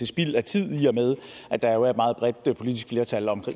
spild af tid i og med at der jo er et meget bredt politisk flertal om